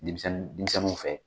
Denmisɛnni dimisɛnnu fɛ